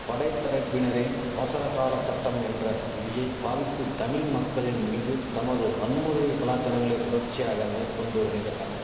படை தரப்பினரை அவசரகால சட்டம் என்ற விதியை பாவித்து தமிழ் மக்களின் மீது தமது வன்முறையை கலாசாரங்களை தொடர்ச்சியாக மேற்கொண்டு வரின்றனர்